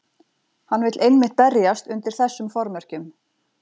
Hann vill einmitt berjast undir þessum formerkjum.